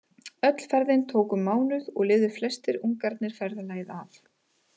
Öll ferðin tók um mánuð og lifðu flestir ungarnir ferðalagið af.